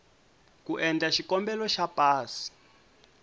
ku endla xikombelo xa pasi